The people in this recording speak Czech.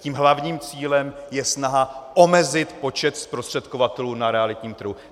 Tím hlavním cílem je snaha omezit počet zprostředkovatelů na realitním trhu.